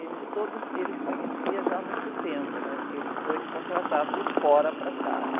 Eles todos, ele conhecia já há muito tempo, né? Porque ele foi contratado de fora para cá, né?